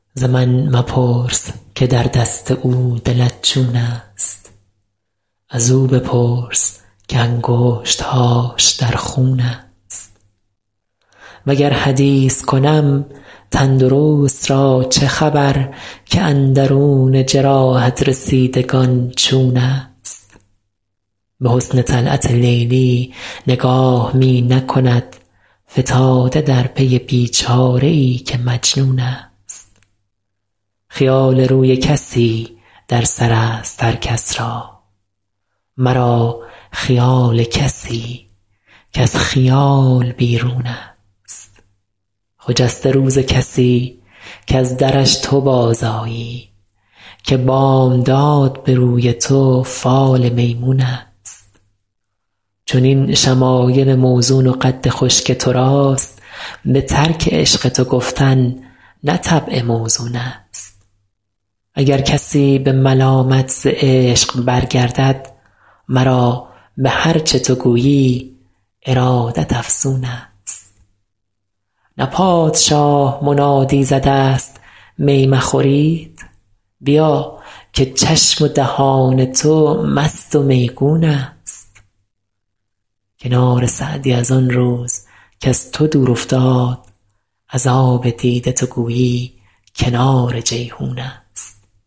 ز من مپرس که در دست او دلت چون است ازو بپرس که انگشت هاش در خون است وگر حدیث کنم تن درست را چه خبر که اندرون جراحت رسیدگان چون است به حسن طلعت لیلی نگاه می نکند فتاده در پی بی چاره ای که مجنون است خیال روی کسی در سر است هر کس را مرا خیال کسی کز خیال بیرون است خجسته روز کسی کز درش تو بازآیی که بامداد به روی تو فال میمون است چنین شمایل موزون و قد خوش که تو راست به ترک عشق تو گفتن نه طبع موزون است اگر کسی به ملامت ز عشق برگردد مرا به هر چه تو گویی ارادت افزون است نه پادشاه منادی زده است می مخورید بیا که چشم و دهان تو مست و میگون است کنار سعدی از آن روز کز تو دور افتاد از آب دیده تو گویی کنار جیحون است